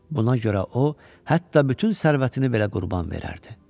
Buna görə o, hətta bütün sərvətini belə qurban verərdi.